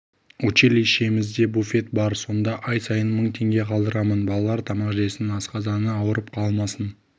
училищемізде буфет бар сонда ай сайын мың теңге қалдырамын балалар тамақ жесін асқазаны ауырып қалмасын